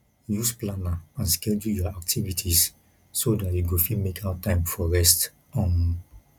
use planner and schedule your activities so dat you go fit make out time for rest um